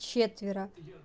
четверо